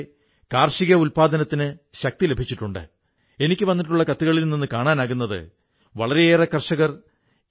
ഈ വർഷം ആഗസ്റ്റിൽ അരുണാചൽ പ്രദേശിലെ നിർജുലിയിലെ റയോ വില്ലേജിൽ ഒരു സ്വസഹായതാ പുസ്തകാലയം ഉണ്ടാക്കപ്പെട്ടിരിക്കയാണ്